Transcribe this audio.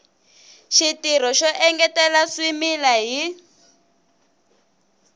xitirho xo engetela swimila hi